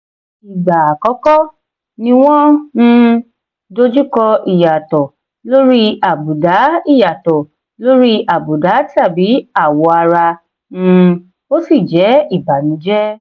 ìgbà àkọ́kọ́ ni wọ́n um dojú kọ ìyàtọ̀ lórí àbùdá ìyàtọ̀ lórí àbùdá tàbí àwọ̀ ara um ó sì jẹ́ ibànújẹ́.